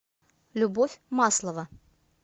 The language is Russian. любовь маслова